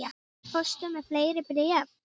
Fórstu með fleiri bréf?